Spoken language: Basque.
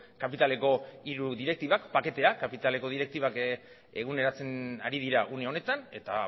kapitaleko hiru direktibak paketea kapitaleko direktibak eguneratzen ari dira une honetan eta